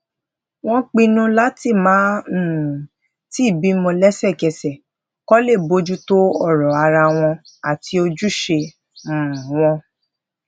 wón pinnu lati maa um tii bimo lesekese ko le bójú tó ọrọ ara won ati ojuse um won